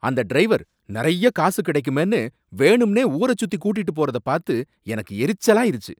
அந்த டிரைவர் நறைய காசு கடைக்குமேனு வேணும்னே ஊரை சுத்தி கூட்டிட்டு போறத பாத்து எனக்கு எரிச்சலாயிருச்சி.